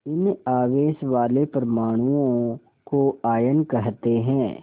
इन आवेश वाले परमाणुओं को आयन कहते हैं